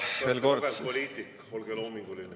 Te olete kogenud poliitik, olge loominguline.